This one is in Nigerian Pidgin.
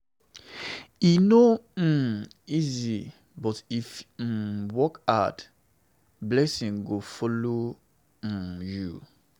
E no um easy, but if you um work hard, blessing go follow um you.